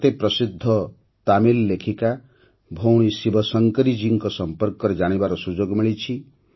ମୋତେ ପ୍ରସିଦ୍ଧ ତାମିଲ ଲେଖିକା ଭଉଣୀ ଶିବଶଙ୍କରୀଜୀଙ୍କ ସମ୍ପର୍କରେ ଜାଣିବାର ସୁଯୋଗ ମିଳିଛି